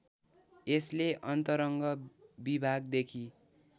यसले अन्तरङ्ग विभागदेखि